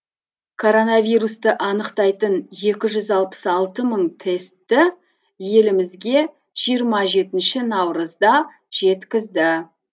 коронавирусты анықтайтын екі жүз алпыс алты мың тесті елімізге жиырма жетінші наурызда жеткізді